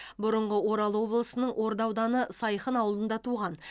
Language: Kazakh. бұрынғы орал облысының орда ауданы сайхын ауылында туған